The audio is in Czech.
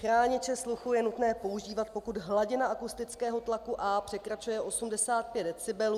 Chrániče sluchu je nutné používat, pokud hladina akustického tlaku A překračuje 85 decibelů.